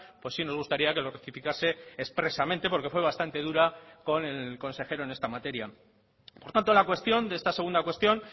pues sí nos gustaría que lo rectificase expresamente porque fue bastante dura con el consejero en esta materia por tanto la cuestión de esta segunda cuestión